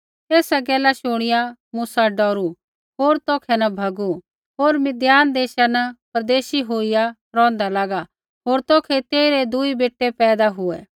एसा गैल शुणिआ मूसा डौरू होर तौखै न भैगू होर मिद्दान देशा न परदेशी होईया रौंहदा लागा होर तौखै तेइरै दूई बेटै पैदा हुऐ